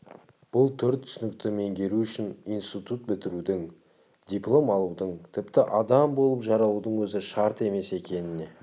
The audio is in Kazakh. бұл төрт түсінікті меңгеру үшін институт бітірудің диплом алудың тіпті адам болып жаралудың өзі шарт емес екеніне